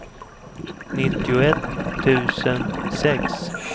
nittioett tusen sex